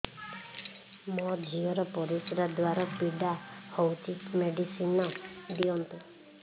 ମୋ ଝିଅ ର ପରିସ୍ରା ଦ୍ଵାର ପୀଡା ହଉଚି ମେଡିସିନ ଦିଅନ୍ତୁ